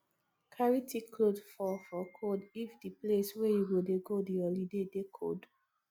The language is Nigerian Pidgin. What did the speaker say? carry thick cloth for for cold if di place wey you dey go di holiday dey cold